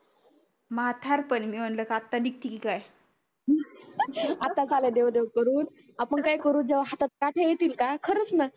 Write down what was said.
म्हातार पनी मी मनल की आता निघती काय आताच आलो देव देव करून आपण काय करू जेव्हा हातात काठ्या येतील का खरंच ना